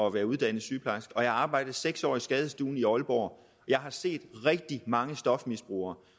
at være uddannet sygeplejerske jeg har arbejdet seks år på skadestuen i aalborg jeg har set rigtig mange stofmisbrugere